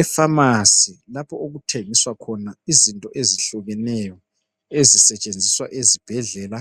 Efamasi lapho okuthengiswa khona izinto ezihlukeneyo ezisetshenziswa esibhedlea